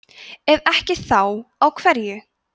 ef ekki þá á hverju